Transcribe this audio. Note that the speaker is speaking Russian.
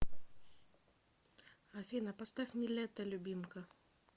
афина поставь нилетто любимка